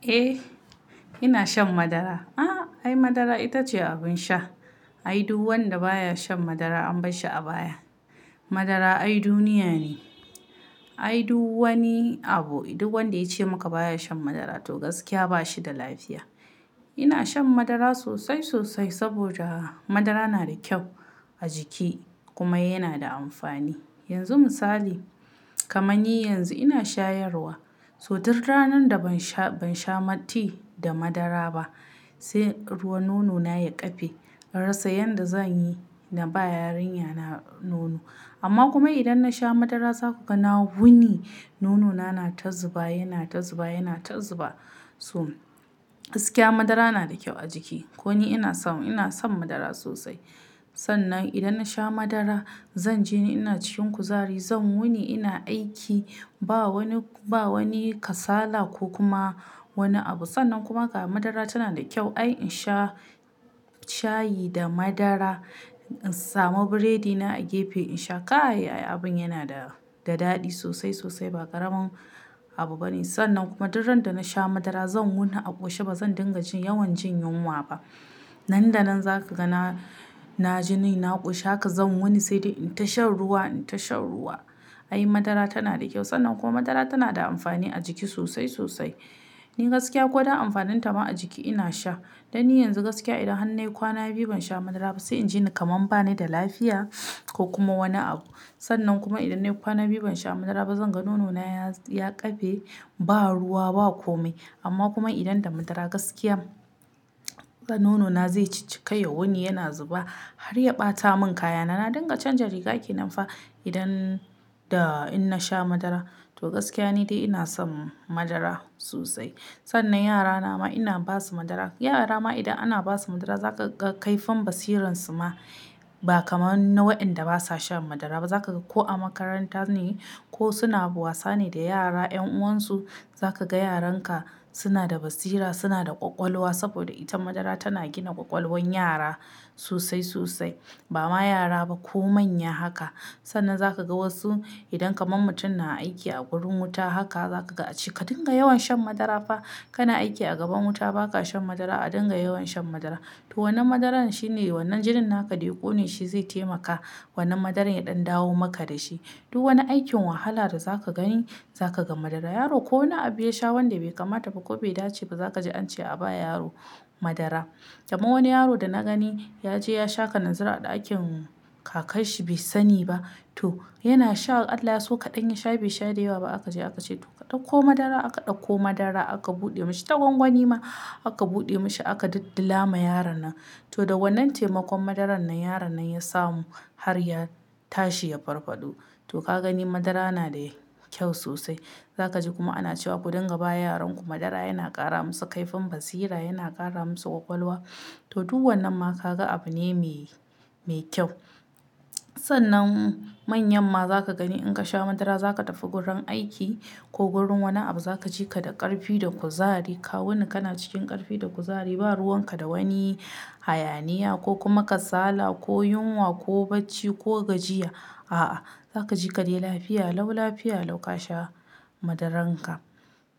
Eh ina shan madara. Ah! Ai madara ita ce abin sha. Ai duk wanda baya shan madara an bashi abaya. Madara ai duniya ne. Ai duk wani abu, duk wanda ya ce maka baya shan madara to gaskiya ba shi da lafiya. Ina shan madara sosai sosai saboda madara na da kyau a jiki kuma yana da amfani. Yanzu misali, kamar ni yanzu ina shayarwa. So duka ranar da ban sha-- ban sha mati da madara ba sai ruwan nonona ya kafe. Inansa yadda zan yi, na ba yarinyana nono. Amma kuma idan na sha madara za ku ga na wuni nonona na ta zuba, yana ta zuba, yana ta zuba. So gaskiya madara na da kyau a jiki. Ko ni ina so, ina son madara sosai. Sannan idan na sha madara zan je ni ina cikin kuzari, zan wuni ina aiki ba wani, ba wani kasala ko kuma wani abu. Sannan kuma ga madara tana da kyau. Ai in sha shayi da madara, in samu biredina a gefe in sha kay ai abin yana da, da daɗi sosai sosai ba ƙaramin abu bane. Sannan kuma dukan daren da na sha madara zan wuni a ƙoshe ba zan dinga jin yawan jin yunwa ba. Nan da nan za ka ga na, na ji ni na ƙushe haka zan wuni sai dai in tasha ruwa, in tasha ruwa. Ai madara tana da kyau. Sannan kuma madara tana da amfani a jiki sosai sosai. Ni gaskiya ko da amfaninta ma a jiki ina sha. Dan ni yanzu gaskiya idan har na yi kwana biyu ban sha madara ba sai in ji ni kamar ba ni da lafiya ko kuma wani abu. Sannan kuma idan na yi kwana biyu ban sha madara ba zan ga nonona ya, ya kafe ba ruwa ba kome. Amma kuma idan da madara gaskiya nonona zai cikkaye wuni yana zuba har ya ɓata mun kaya na. Na dinga canja rigaki nan fa idan da in na sha madara. To gaskiya ni dai ina son madara sosai. Sannan yara na ma ina ba su madara. Yara ma idan ana ba su madara za ka ga kaifin basiran su ma ba kamar na waɗanda basa shan madara ba. Za ka ga ko a makaranta ne ko suna wasa ne da yara, 'yan uwansu za ka ga yaran ka suna da basira, suna da ƙwaƙwalwa saboda ita madara tana gina ƙwaƙwalwan yara sosai sosai. Ba ma yara ba ko manya haka. Sannan za ka ga wasu idan kamar mutum na aiki a gurin wuta haka za ka ga a cika dinga yawan shan madara fa. Kana aiki a gaban wuta ba ka shan madara a dinga yawan shan madara. To wannan madaran shine wannan jinin haka dai ko ne shi zai taimaka, wannan madaran ya ɗan dawo maka da shi. Duk wani aikin wahala da za ka gani za ka ga madara. Yaro ko wani abu ya sha wanda bai kamata ba ko bai dace ba za ka ji an ce a ba yaro madara. Kamar wani yaro da na gani ya je ya sha kananzira a ɗakin kakan shi bai sani ba. To yana sha Allah so kaɗan ya sha bai sha da yawa ba aka je aka ce to ka ɗauko madara aka ɗauko madara aka buɗe mashi tagwangwani ma aka buɗe mashi aka dilla ma yaron nan. To da wannan taimakon madaran nan yaron nan ya samu har ya tashi ya farfaɗo. To ka gani madara yana da kyau sosai. Za ka ji kuma ana cewa ku dinga ba yaran ku madara yana ƙara musu kaifin basira, yana ƙara musu ƙwaƙwalwa. To duk wannan ma ka ga abu ne mai, mai kyau. Sannan manyan ma za ka gani in ka sha madara za ka tafi gurin aiki ko gurin wani abu za ka ji ka da ƙarfi da kuzari. Ka wuni kana cikin ƙarfi da kuzari ba ruwan ka da wani hayaniya ko kuma kasala ko yunwa ko bacci ko gajiya. A'a, za ka ji ka dai lafiya lau lafiya lau ka sha madaran ka.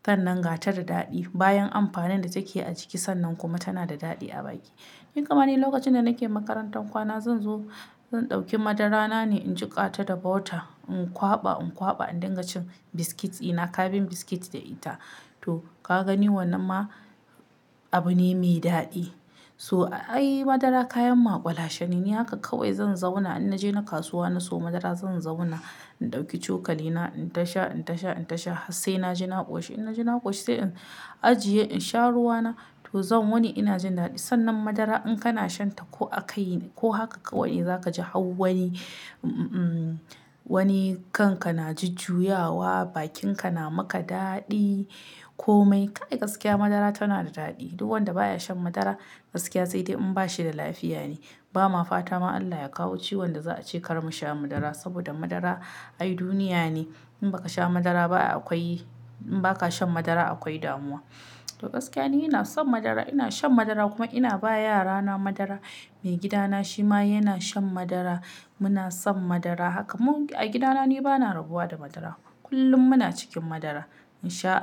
Sannan ga ta da daɗi bayan amfanin da take a jiki sannan kuma tana da daɗi a baki. Ni kamane lokacin da nake makarantar kwana zan zo, zan ɗauki madarana ne in jiƙa ta da bauta in ƙwaba in ƙwaba an dinga cin biskit ina kafin biskit da ita. To ka gani wannan ma abu ne mai daɗi. So ai madara kayan makwalashe ne ni haka kawai zan zauna in na je na kasuwa na siyo madara zan zauna in ɗauki cokali na in tasha, in tasha, in tasha har sai na ji na ƙoshi in na ji na ƙoshi sai in ajiye in sha ruwa na to zan wuni ina jin daɗi. Sannan madara in kana shan ta ko a kai ne ko haka kawai za ka ji hau wani, wani kan ka na ju-juyawa, bakin ka na maka daɗi kome. Kai gaskiya madara tana da daɗi. Duk wanda baya shan madara gaskiya sai dai in ba shi da lafiya ne. Ba ma fata ma Allah ya kawo ciwon da za a ce kar mu sha madara saboda madara ai duniya ne. In ba ka sha madara ba akwai, in ba ka shan madara akwai damuwa. To gaskiya ne ina son madara, ina shan madara kuma ina ba yarana madara. Mai gidana shi ma yana shan madara. Muna son madara haka mu a gida na ne ba na rabuwa da madara kullum muna cikin madara in sha Allah.